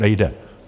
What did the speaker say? Nejde!